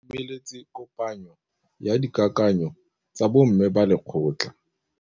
Ba itumeletse kôpanyo ya dikakanyô tsa bo mme ba lekgotla.